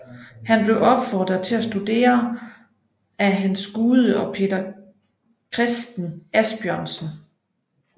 Han blev opfordret til at studere af Hans Gude og Peter Christen Asbjørnsen